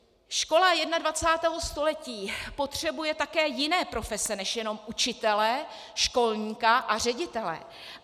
Škola 21. století potřebuje také jiné profese než jenom učitele, školníka a ředitele.